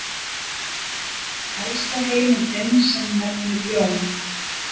Elsta heimildin sem nefnir Jón